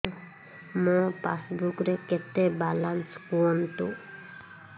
ମୋ ପାସବୁକ୍ ରେ କେତେ ବାଲାନ୍ସ କୁହନ୍ତୁ